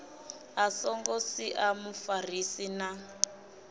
a songo sia mufarisi na